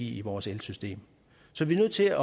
i vores elsystem så vi er nødt til at